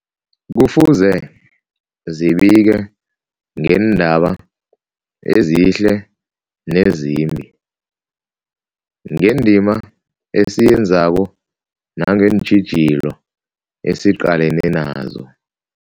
Kufuze zibike ngeendaba ezihle nezimbi, ngendima esiyenzako nangeentjhijilo esiqalene nazo.